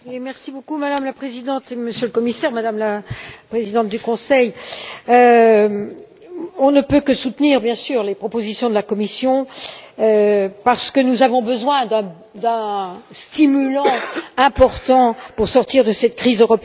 Madame la Présidente, Monsieur le Commissaire, Madame la Présidente du Conseil, nous ne pouvons que soutenir, bien sûr, les propositions de la Commission, parce que nous avons besoin d'un stimulant important pour sortir de cette crise européenne.